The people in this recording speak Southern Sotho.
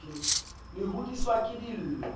le hodiswa le ke dillo